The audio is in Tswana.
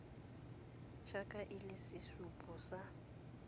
jaaka e le sesupo sa